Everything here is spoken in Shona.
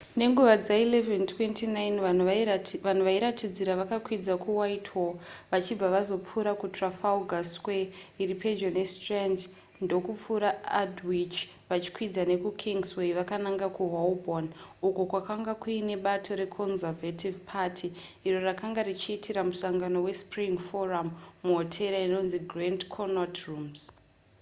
nenguva dza11:29 vanhu vairatidzira vakakwidza kuwhitehall vachibva vazopfuura kutrafalgar square iri pedyo nestrand ndokupfuura aldwych vachikwidza nekukingsway vakananga kuholborn uko kwakanga kuine bato reconservative party iro rakanga richiitira musangano wespring forum muhotera inonzi grand connaught rooms